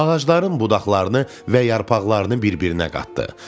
Ağacların budaqlarını və yarpaqlarını bir-birinə qatdı.